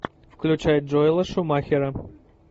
включай джоэла шумахера